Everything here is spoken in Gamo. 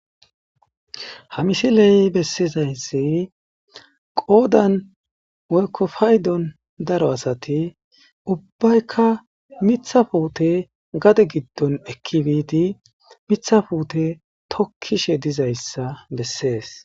Ha missiley bessizayssi qoodan woykko paydon daaro asati ubbaykka miththa puutte gadde giddon eeki biddi miththa puutte tokkishe diizayssa besses.